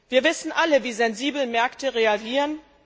Wir wissen alle, wie sensibel Märkte reagieren.